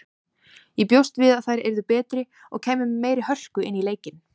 Ég bjóst við að þær yrðu betri og kæmu með meiri hörku inn í leikinn.